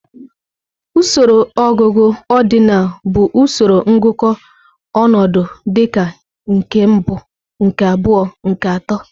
Usoro ọgụgụ ọdịnal bụ usoro ngụkọ ọnọdụ dịka nke mbụ, nke abụọ, nke atọ.